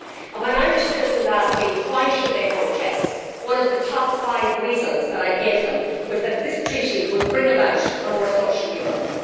When Irish citizens asked me why they should vote yes', one of the top five reasons that I gave them was that this treaty would bring about a more social Europe.